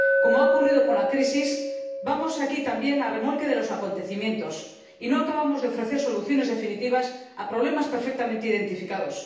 Como ha ocurrido con la crisis, vamos aquí también a remolque de los acontecimientos y no acabamos de ofrecer soluciones definitivas a problemas perfectamente identificados.